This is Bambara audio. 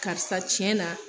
Karisa tiɲɛn na